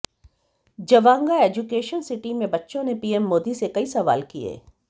Jawanga education city में बच्चों ने पीएम मोदी से सवाल कई सवाल किए